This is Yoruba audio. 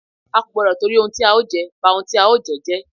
A kò gbọ́dọ̀ tìtorí ohun tí a ó jẹ, ba ohun tí a ó jẹ jẹ́.